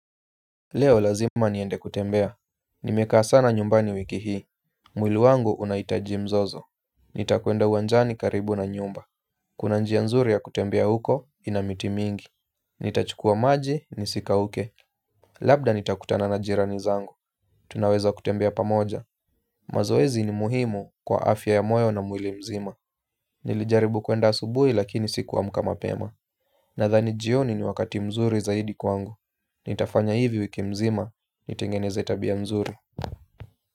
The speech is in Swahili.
Leo lazima niende kutembea. Nimekaa sana nyumbani wiki hii. Mwili wangu unahitaji mzozo. Nitakuenda uwanjani karibu na nyumba. Kuna njia nzuri ya kutembea huko ina miti mingi. Nitachukua maji nisikauke. Labda nitakutana na jirani zangu. Tunaweza kutembea pamoja. Mazoezi ni muhimu kwa afya ya moyo na mwili mzima. Nilijaribu kuenda asubui lakini sikuamka mapema. Nadhani jioni ni wakati mzuri zaidi kwangu. Nitafanya hivi wiki mzima, nitengeneze tabia mzuri.